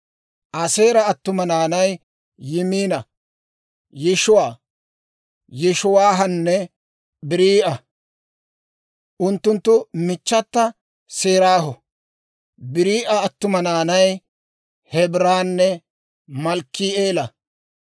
Aaseera attuma naanay Yimina, Yishiwa, Yishiwaahanne Barii'a; unttunttu michchata Seraaho. Barii'a attuma naanay Hebeeranne Malkki'eela.